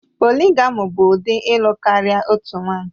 Polịgami bụ ụdị ịlụ karịa otu nwanyị